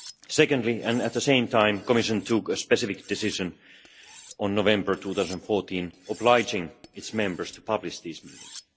Secondly, and at the same time, the Commission took a specific decision in November 2014 obliging its members to publish these meetings.